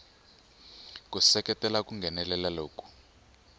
ku seketela ku nghenelela loku